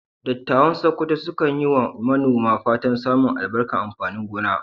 Dattawan Sakkwato sukan yi wa manoma fatan samun albarkar amfanin gona.